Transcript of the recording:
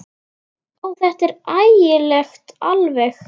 Ó, þetta er ægilegt alveg.